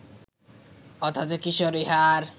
অথচ কিশোর ইহার